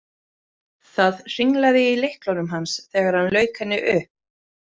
Það hringlaði í lyklunum hans þegar hann lauk henni upp.